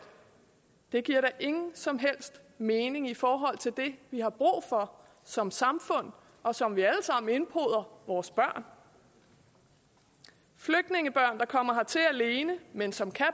det giver da ingen som helst mening i forhold til det vi har brug for som samfund og som vi alle sammen indpoder vores børn flygtningebørn der kommer hertil alene men som kan